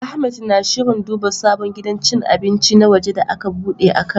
Ahmed na shirin duba sabon gidan cin abinci na waje da aka bude a Kano.